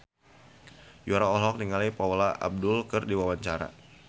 Yura olohok ningali Paula Abdul keur diwawancara